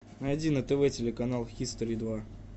найди на тв телеканал хистори два